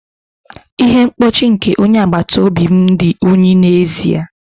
Ihe mkpuchi nke onye agbata obi m dị unyi n'ezie.